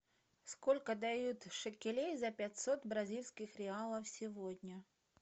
сколько дают шекелей за пятьсот бразильских реалов сегодня